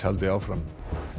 haldi áfram